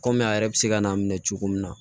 Kɔmi a yɛrɛ bɛ se ka n'a minɛ cogo min na